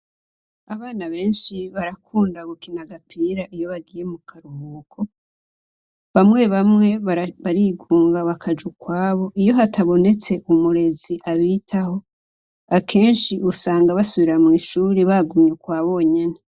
Abana benshi barakunda gukina gapira iyo bagiye mu karuhuko bamwe bamwe barigunga bakaja ukwabo iyo hatabonetse umurezi abitaho akenshi usanga basubira mw'ishuri bagumye ukwa bonyene.